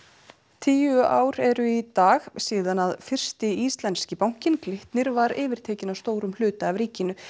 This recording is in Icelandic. tíu ár eru í dag síðan fyrsti íslenski bankinn Glitnir var yfirtekinn að stórum hluta af ríkinu